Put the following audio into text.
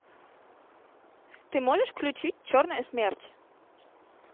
ты можешь включить черная смерть